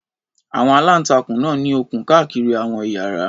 Àwọn aláǹtakùn náà ní okùn káàkiri àwọn ìyára.